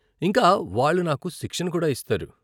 ఇంకా, వాళ్ళు నాకు శిక్షణ కూడా ఇస్తారు.